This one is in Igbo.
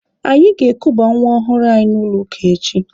Anyị ga-ekuba nwa ọhụrụ anyị n'ụlọ ụka echi.